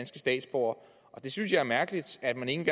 statsborgere jeg synes det er mærkeligt at man ikke